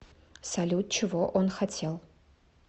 салют чего он хотел